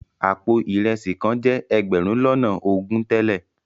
Àpò ìresì kan jẹ́ ẹgbẹ̀rún lọ́nà ogún tẹ́lẹ̀.